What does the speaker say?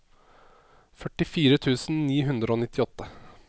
førtifire tusen ni hundre og nittiåtte